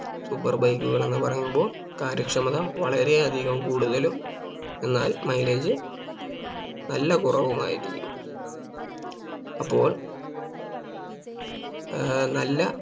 Super bike കൾ എന്ന് പറയുമ്പോൾ കാര്യക്ഷമത വളരെയധികം കൂടുതലും എന്നാൽ Mileage നല്ല കുറവുമായിരിക്കും അപ്പോൾ ഏർ നല്ല